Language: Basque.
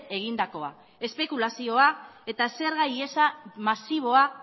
egindakoa espekulazioa eta zerga ihesa masiboa